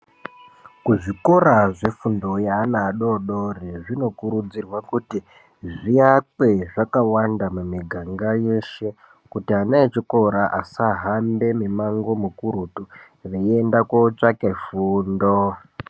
Kuzvikora zvefundo yeana adodori, zvinokurudzirwa kuti zviakwe zvakawanda mumiganga yeshe kuti ana echikora asahambe mimango mukurutu veienda kootsvake fundo.